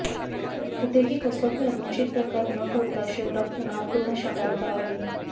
कुठेही कसलाही अनुचित प्रकार न घडता शहरात तणावपूर्ण शांतता आहे